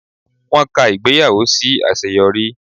Wọ́n ka ìgbéyàwó sí àṣeyọrí